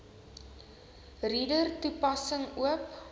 reader toepassing oop